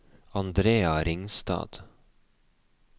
Andrea Ringstad